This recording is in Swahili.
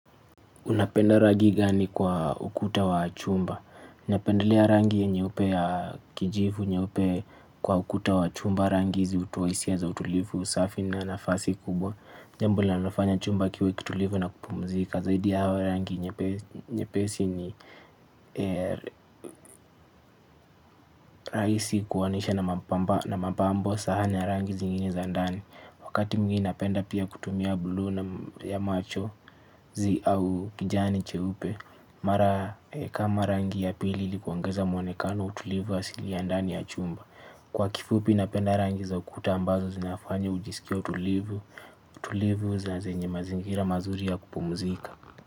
Unapenda rangi gani kwa ukuta wa chumba? Napendalea rangi nyeupe na ya kijivu kwa ukuta wa chumba. Rangi hizi hutoa hisia za utulivu, usafi na nafasi kubwa. Jambo linalofanya chumba kiwe kitulivu na kupumzika. Zaidi ya hayo, rangi nyepesi ni rahisi kuunganisha na mapambo sahani ya rangi zingine za ndani. Wakati mwingine napenda pia kutumia buluu na rangi ya machozi au kijani cheupe. Mara kama rangi ya pili ni kuongeza mwonekano, utulivu asili kwa ndani ya chumba. Kwa kifupi napenda rangi za ukuta ambazo zinafanya ujisikie utulivu, tulivu na zenye mazingira mazuri ya kupumzika.